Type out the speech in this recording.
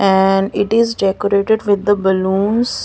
And it is decorated with the balloons.